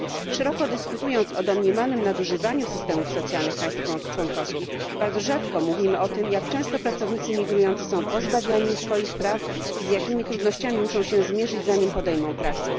Szeroko dyskutując o domniemanym nadużywaniu systemów socjalnych państw członkowskich, bardzo rzadko mówimy o tym, jak często pracownicy migrujący są pozbawiani swoich praw i z jakimi trudnościami musza się zmierzyć zanim podejmą pracę.